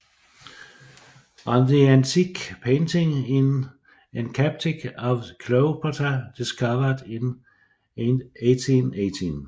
On the Antique Painting in encaustic of Cleopatra discovered in 1818